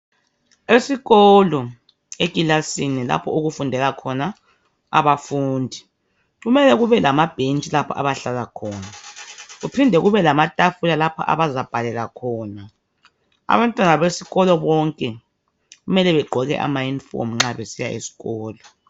Esikolo ekilasini lapho okufundela khona abafundi kumele kube lamabhensthi lapho abahlala khona kuphinde kube lamatafula lapho abazabhalela khona abantwana besikolo bonke kumele begqoke amayunifomu nxa besiya esikolo.